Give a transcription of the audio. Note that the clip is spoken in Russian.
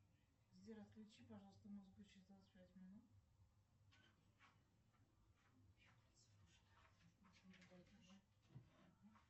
сбер отключи пожалуйста музыку через двадцать пять минут